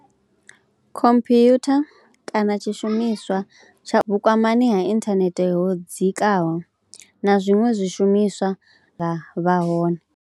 Computer kana tshishumiswa tsha vhukwamani ha inthanete ho dzikaho na zwiṅwe zwishumiswa zwine vha hone.